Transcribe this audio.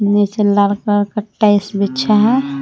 नीचे लाल कलर का टाइल्स बिछा है।